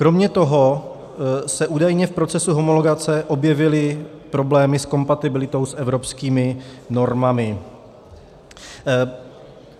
Kromě toho se údajně v procesu homologace objevily problémy s kompatibilitou s evropskými normami.